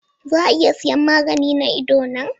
Za a iya siyan magani na idona?